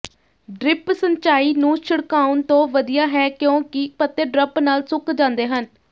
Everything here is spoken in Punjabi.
ਡ੍ਰਿਪ ਸਿੰਚਾਈ ਨੂੰ ਛਿੜਕਾਉਣ ਤੋਂ ਵਧੀਆ ਹੈ ਕਿਉਂਕਿ ਪੱਤੇ ਡਰਪ ਨਾਲ ਸੁੱਕ ਜਾਂਦੇ ਹਨ